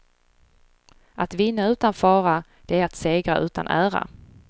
Att vinna utan fara, det är att segra utan ära.